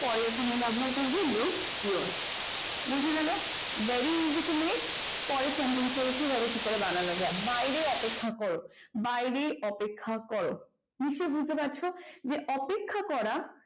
পরে এখানে ব্যবহার করব look your বোঝা গেল very easy to make পরের sentence টা দেখি তাহলে কিভাবে বানানো যায় বাইরে অপেক্ষা করো নিশ্চয়ই বুঝতে পারছ যে বাইরে অপেক্ষা করা